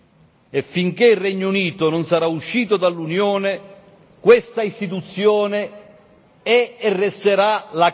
E finché il Regno Unito non sarà uscito dall'Unione, questa istituzione è e resterà la